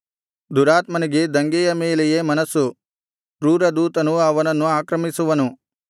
ದುರಾತ್ಮನಿಗೆ ದಂಗೆಯ ಮೇಲೆಯೇ ಮನಸ್ಸು ಕ್ರೂರದೂತನು ಅವನನ್ನು ಆಕ್ರಮಿಸುವನು